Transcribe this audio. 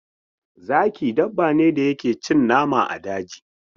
Zaki dabbane da yake cin nama a daji.